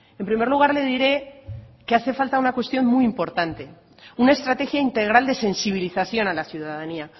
en primer lugar le diré que hace falta una cuestión muy importante una estrategia integral de sensibilización a la ciudadanía